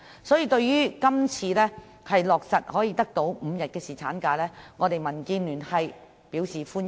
所以，對於今次可以落實5天侍產假，民建聯表示歡迎。